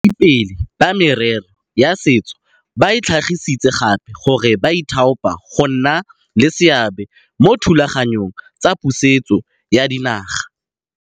Baeteledipele ba merero ya setso ba tlhagisitse gape gore ba ithaopa go nna le seabe mo dithulaganyong tsa pusetso ya dinaga.